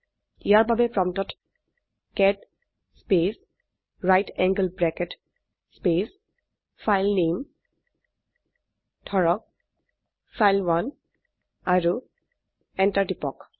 ইয়াৰ বাবে প্ৰম্পটত cat space right angle bracket space ফাইলনামে ধৰক ফাইল1 আৰু এন্টাৰ টিপক